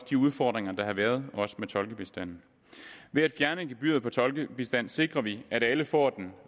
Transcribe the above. de udfordringer der har været også med tolkebistanden ved at fjerne gebyret på tolkebistand sikrer vi at alle får den